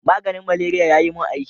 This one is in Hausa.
Maganin malaria ya yi mun aiki.